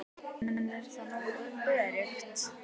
En er það nógu öruggt?